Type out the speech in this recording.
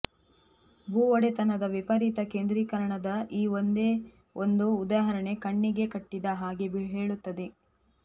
ಭೂಒಡೆತನದ ವಿಪರೀತ ಕೇಂದ್ರೀಕರಣದ ಈ ಒಂದೇ ಒಂದು ಉದಾಹರಣೆ ಕಣ್ಣಿಗೆ ಕಟ್ಟಿದ ಹಾಗೆ ಹೇಳುತ್ತದೆ